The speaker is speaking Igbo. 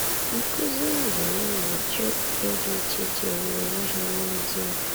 Nkụzi, ememe, na chi okpukpe dị iche iche yiri onwe ha n’ezie.